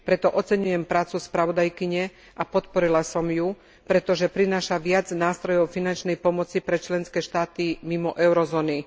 Preto oceňujem prácu spravodajkyne a podporila som ju, pretože prináša viac nástrojov finančnej pomoci pre členské štáty mimo eurozóny.